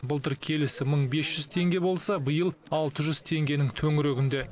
былтыр келісі мың бес жүз теңге болса биыл алты жүз теңгенің төңірегінде